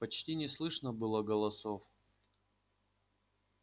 почти не слышно было голосов